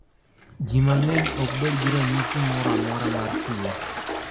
Ji mang�eny ok bed gi ranyisi moro amora mar tuo.